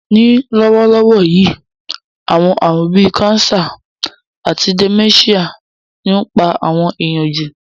Ní lówólówó yi, àwon àrún bi cancer àti dementia ni o n pa àwon èyàn jù